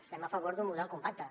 estem a favor d’un model compacte